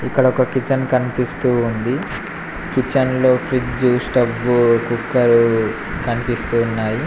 ఇక్కడ ఒక కిచెన్ కనిపిస్తూ ఉంది కిచెన్ లో ఫ్రిజ్ స్టవ్ కుక్కరు కనిపిస్తూ ఉన్నాయి.